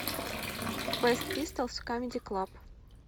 квест пистолс в камеди клаб